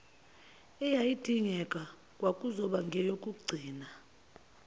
eyayidingeka kwakuzoba ngeyokugcina